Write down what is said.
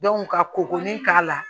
ka kɔkɔ ni k'a la